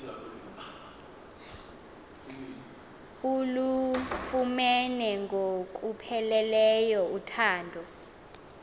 ulufumene ngokupheleleyo uthando